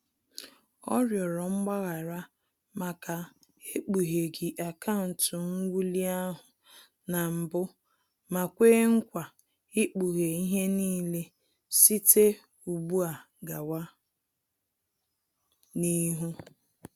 Ọ rịọrọ mgbaghara maka ekpugheghi akaụntụ nwuli ahụ na mbụ ma kwe nkwa ikpughe ihe n'ile site ụgbụ a gawa n'ihu